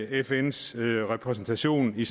fns repræsentation i